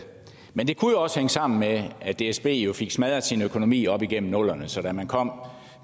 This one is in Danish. men det kunne også hænge sammen med at dsb jo fik smadret sin økonomi op igennem nullerne så da man kom